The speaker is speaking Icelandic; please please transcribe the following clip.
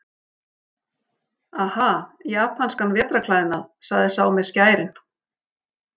Aha, japanskan vetrarklæðnað, sagði sá með skærin.